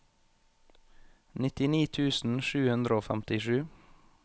nittini tusen sju hundre og femtisju